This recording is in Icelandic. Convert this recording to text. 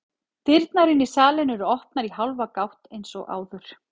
Dyrnar inn í salinn eru opnar í hálfa gátt eins og áður.